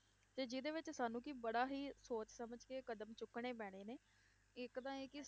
ਤੇ ਜਿਹਦੇ ਵਿੱਚ ਸਾਨੂੰ ਕਿ ਬੜਾ ਹੀ ਸੋਚ ਸਮਝ ਕੇ ਕਦਮ ਚੁੱਕਣੇ ਪੈਣੇ ਨੇ, ਇੱਕ ਤਾਂ ਇਹ ਕਿ